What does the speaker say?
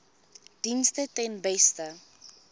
dienste ten beste